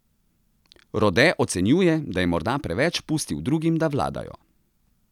Rode ocenjuje, da je morda preveč pustil drugim, da vladajo.